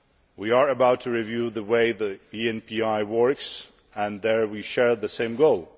We are about to review the way ENPI works, and there we share the same goal.